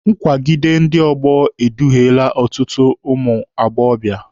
Nkwagide ndị ọgbọ eduhiele ọtụtụ ụmụ agbọbịa.